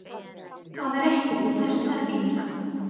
Það er ekkert við þessu að gera.